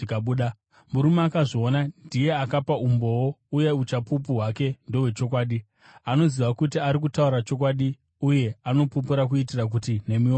Murume akazviona ndiye akapa umboo, uye uchapupu hwake ndohwechokwadi. Anoziva kuti ari kutaura chokwadi, uye anopupura kuitira kuti nemiwo mutende.